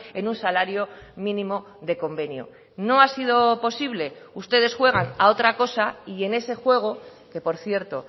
en un salario mínimo de convenio no ha sido posible ustedes juegan a otra cosa y en ese juego que por cierto